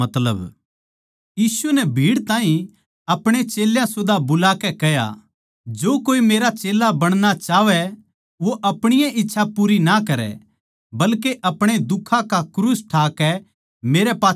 यीशु नै भीड़ ताहीं आपणे चेल्यां सुदा बुलाकै कह्या जो कोई मेरै मेरा चेल्ला बणना चाहवै वो आपणी ए इच्छा पूरी ना करै बल्के अपणे दुखां का क्रूस ठाकै मेरै पाच्छै हो लेवै